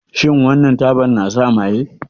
Shin wannan tabar na sa maye?